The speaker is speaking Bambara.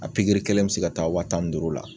A pigiri kelen bi se ka taa waa tan ni duuru la